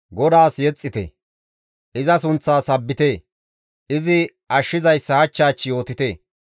GODAAS yexxite; iza sunththaa sabbite; izi ashshizayssa hach hach yootite.